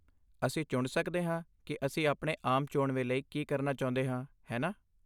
ਅਸੀਂ ਚੁਣ ਸਕਦੇ ਹਾਂ ਕਿ ਅਸੀਂ ਆਪਣੇ ਆਮ ਚੋਣਵੇਂ ਲਈ ਕੀ ਕਰਨਾ ਚਾਹੁੰਦੇ ਹਾਂ, ਹੈ ਨਾ?